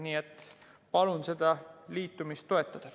Nii et palun seda liitumist toetada.